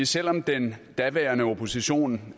selv om den daværende opposition